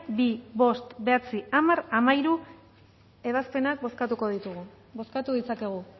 bi bost bederatzi hamar eta hamairu ebazpenak bozkatuko ditugu bozkatu ditzakegu